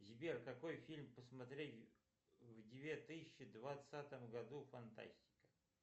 сбер какой фильм посмотреть в две тысячи двадцатом году фантастика